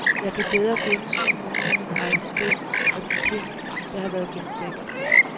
Jeg kan bedre gennemskue nogle af mine egne spil og de ting, der har været gemt væk.